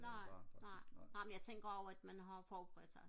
nej nej nej men jeg tænker også at man har forberedt sig